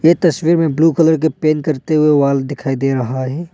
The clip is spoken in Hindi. तस्वीर में ब्लू कलर के पेन करते हुए वॉल दिखाई दे रहा है।